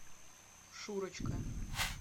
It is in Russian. шурочка